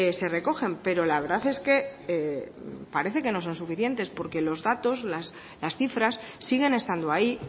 se recogen pero la verdad es que parece que no son suficientes porque los datos las cifras siguen estando ahí